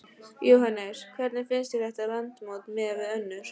Jóhannes: Hvernig finnst þér þetta landsmót miðað við önnur?